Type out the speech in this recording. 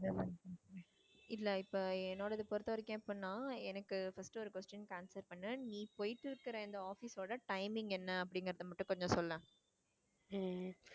இல்ல இப்போ என்னோடது பொறுத்தவரைக்கும் எப்படின்னா எனக்கு first ஒரு question க்கு answer பண்ணு. நீ போயிட்டு இருக்குற office ஓட timing என்ன அப்படிங்கிறதை மட்டும் கொஞ்சம் சொல்லேன்.